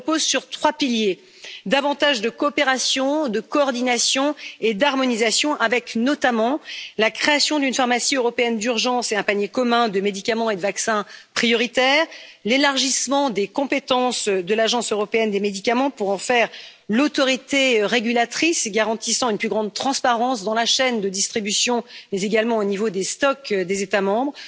Elles reposent sur trois piliers davantage de coopération, de coordination et d'harmonisation. Nous proposons notamment la création d'une pharmacie européenne d'urgence et d'un panier commun de médicaments et de vaccins prioritaires, l'élargissement des compétences de l'Agence européenne des médicaments pour en faire l'autorité régulatrice garantissant une plus grande transparence dans la chaîne de distribution, mais également au niveau des stocks des États membres,